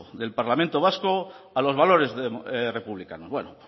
del parlamento vasco a los valores republicanos bueno